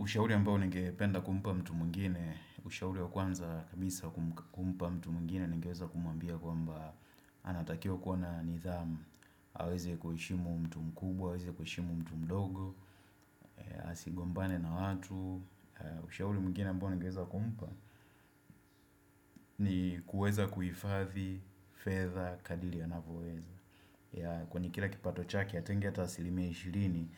Ushauri ambao ningependa kumpa mtu mwingine ushauri wa kwanza kabisa kumpa mtu mwingine, nigeweza kumwambia kwamba anatakiwa kuwa na nidhamu, aweze kuheshimu mtu mkubwa, aweze kuheshimu mtu mdogo, asigombane na watu. Ushauri mwingine ambao nigeweza kumpa ni kuweza kuhifathi fedha kadili anavyoweza. Kwani kila kipato chake atenge ata asilimia ishirini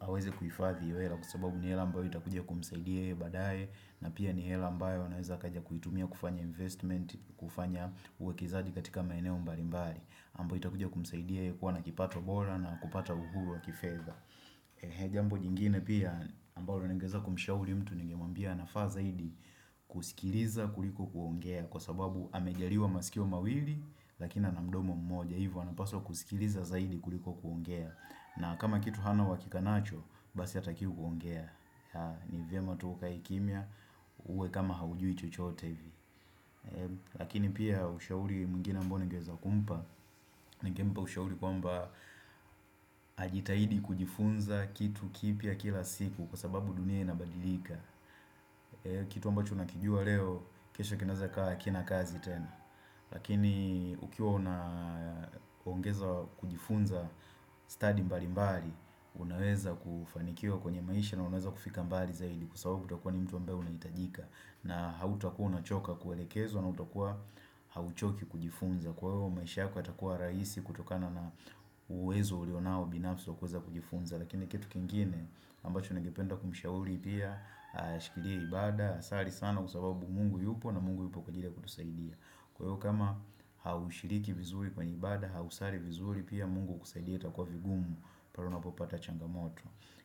aweze kuhifadhi hela kwa sababu ni hela ambayo itakuja kumsaidia yeye badae na pia ni hela ambayo anaweza akaja kuitumia kufanya investment kufanya uwekezaji katika maeneo mbalimbali ambao itakuja kumsaidia yeye kuwa na kipato bora na kupata uhuru wa kifedha Jambo jingine pia ambalo ningeweza kumshauri mtu ningemwambia anafa zaidi kusikiliza zaidi kuliko kuongea kwa sababu amejaliwa masikio mawili lakini ana mdomo mmoja hivi anapaswa kusikiliza zaidi kuliko kuongea. Na kama kitu hana uhakika nacho basi atakiwi kuongea. Ni vyema tu ukae kimia uwe kama haujui chochote. Lakini pia ushauri mwingine ambao ningeweza kumpa, ningempa ushauri kwamba ajitahidi kujifunza kitu kipya kila siku. Kwa sababu dunia inabadilika. Kitu ambacho nakijua leo, kesho kinaweza kuwa hakina kazi tena. Lakini ukiwa una ongeza kujifunza studies mbali mbali Unaweza kufanikiwa kwenye maisha na unaweza kufika mbali zaidi kwa sababu utakua ni mtu ambaye unahitajika na hautakua unachoka kuelekezwa na hautakua hauchoki kujifunza. Kwa hivyo maisha yako yatakua rahisi kutokana na uwezo ulionao binafi wa kuweza kujifunza. Lakini kitu kingine ambacho ningependa kumshauri pia ashikilie ibada, asali sana kwa sababu Mungu yupo na Mungu yupo kwa ajili ya kutusaidia Kwa hiyo kama haushiriki vizuri kwa ibada, hausali vizuri, pia Mungu kukusaidia itakua vigumu pale unapopata changamoto.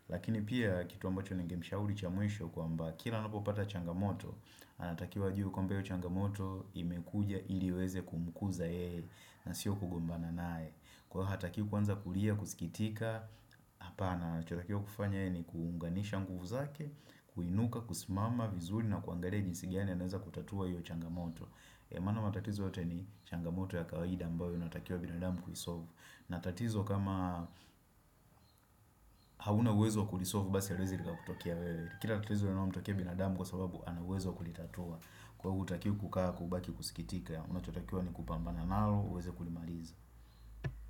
Lakini pia kitu ambacho ningemshauri cha mwisho kwamba kila anapopata changamoto anatakiwa ajue kuwa hiyo changamoto imekuja ili iweze kumukuza yeye na sio kugombana naye. Kwa hiyo hatakiwi kuanza kulia, kusikitika. Hapana anachotakiwa kufanya yeye ni kuunganisha nguvu zake, kuinuka, kusimama vizuri na kuangalia jinsi gani anaweza kutatua hiyo changamoto. Maana matatizo yote ni changamoto ya kawaida ambayo inatakiwa binadamu kuisolve. Na tatizo kama hauna uwezo kuisolve basi haliwezi likakutokia wewe. Kila tatizo linalomtokea binadamu kwa sababu ana uwezi wa kulitatua. Kwa hivyo hautakiwi kukaa kubaki kusikitika unachotakiwa ni kupambana nalo uweze kulimaliza.